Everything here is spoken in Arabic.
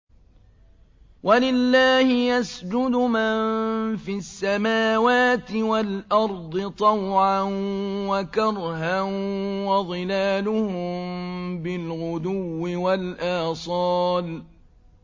وَلِلَّهِ يَسْجُدُ مَن فِي السَّمَاوَاتِ وَالْأَرْضِ طَوْعًا وَكَرْهًا وَظِلَالُهُم بِالْغُدُوِّ وَالْآصَالِ ۩